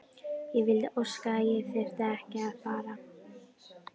Ég vildi óska að ég þyrfti ekki að fara.